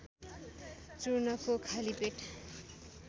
चूर्णको खाली पेट